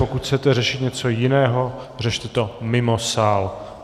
Pokud chcete řešit něco jiného, řešte to mimo sál!